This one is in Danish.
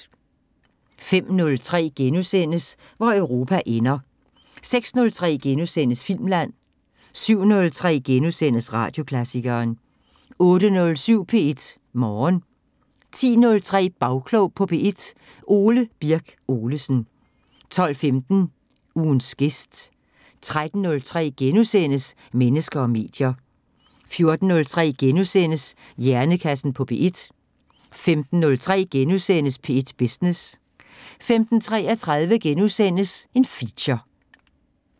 05:03: Hvor Europa ender * 06:03: Filmland * 07:03: Radioklassikeren * 08:07: P1 Morgen 10:03: Bagklog på P1: Ole Birk Olesen 12:15: Ugens gæst 13:03: Mennesker og medier * 14:03: Hjernekassen på P1 * 15:03: P1 Business * 15:33: Feature *